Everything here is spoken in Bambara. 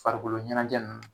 Farikolo ɲɛnajɛ nunnu.